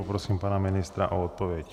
Poprosím pana ministra o odpověď.